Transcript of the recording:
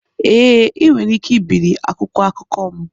Ee, ị nwere ike ibiri akwụkwọ akụkọ m.